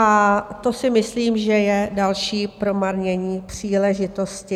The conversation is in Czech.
A to si myslím, že je další promarnění příležitosti.